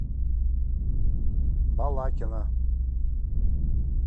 балакина